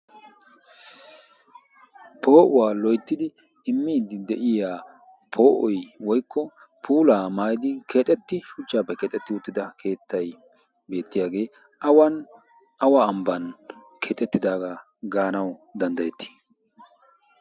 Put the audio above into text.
Poo'uwaa loyttidi immiiddi de'iya poo'oy woykko puulaa maayidi keexetti shuchchaappe keexetti uttida keettai beettiyaagee awn awa ambban keetettidaagaa gaanau danddayetti?